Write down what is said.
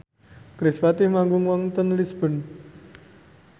kerispatih manggung wonten Lisburn